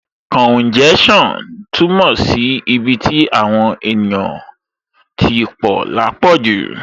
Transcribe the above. Kàúnjẹ́ṣàn túmọ̀ sí ibi tí àwọn èèyàn tí pọ̀ lápọ̀jù